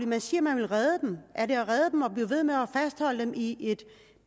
man siger man vil redde dem er det at redde dem at blive ved med at fastholde dem i et